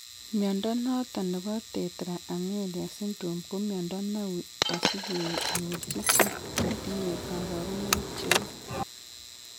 Mnyondo noton nebo Tetra amelia syndrome ko mnyondo neuui asige nyorchi chii netinye kabarunaik cheuu